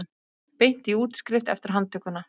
Beint í útskrift eftir handtökuna